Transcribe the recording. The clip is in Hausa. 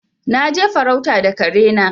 Na je farauta da kare na.